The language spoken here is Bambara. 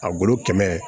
A golo kɛmɛ